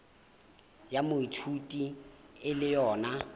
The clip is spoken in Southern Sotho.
ya moithuti e le yona